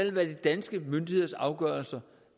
være de danske myndigheders afgørelser